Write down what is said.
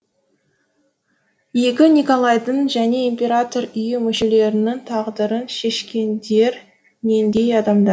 николайдың және император үйі мүшелерінің тағдырын шешкендер нендей адамдар